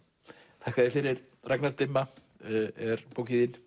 þakka þér fyrir Ragnar dimma er bókin